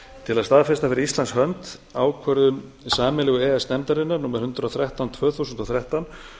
til að staðfesta fyrir íslands hönd ákvörðun sameiginlegu e e s nefndarinnar númer hundrað og þrettán tvö þúsund og þrettán